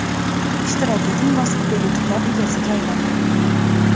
Ishtirok eting va super yutuqlar egasiga aylaning!